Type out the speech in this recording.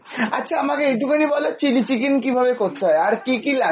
আচ্ছা আমাকে একটু খানি, বলো chilli chicken কিভাবে করতে হয় আর কী কী লাগে?